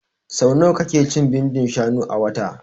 So nawa ka ke cin bindin shanu a wata?